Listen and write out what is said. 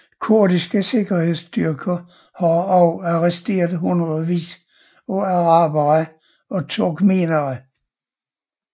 Kurdiske sikkerhedstyrker har også arresteret hundredeis af arabere og turkmenere